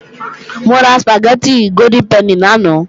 Mo ra Sùpàgẹ́tì Golden Penny lánàá